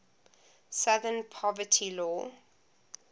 southern poverty law